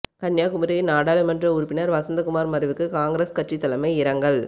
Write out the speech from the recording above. கன்னியாகுமரி நாடாளுமன்ற உறுப்பினர் வசந்தகுமார் மறைவுக்கு காங்கிரஸ் கட்சி தலைமை இரங்கல்